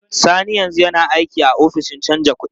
Sani yanzu yana aiki a ofishin canja kuɗi.